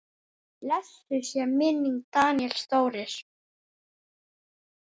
Blessuð sé minning Daníels Þóris.